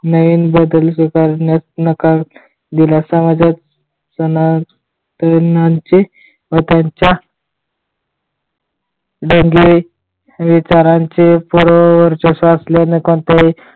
नवीन बोधल स्वीकारण्यास नकार दिला समाजात सनातनांचे व त्यांच्या जंगे विचारांचे पूर्ण वर्चस्व असल्याने कोणत्याही